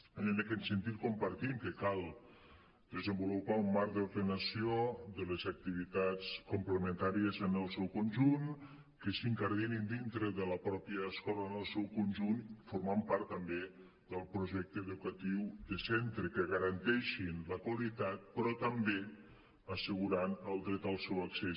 i en aquest sentit compartim que cal desenvolupar un marc d’ordenació de les activitats complementàries en el seu conjunt que s’incardinin dintre de la pròpia escola en el seu conjunt formant part també del projecte educatiu de centre que garanteixin la qualitat però també assegurant el dret al seu accés